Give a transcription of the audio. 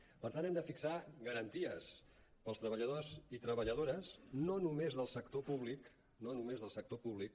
per tant hem de fixar garanties per als treballadors i treballadores no només del sector públic no només del sector públic